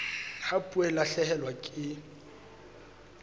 ha puo e lahlehelwa ke